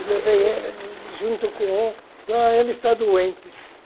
Eu levei ele junto com outro, ele está doente.